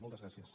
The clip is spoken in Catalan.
moltes gràcies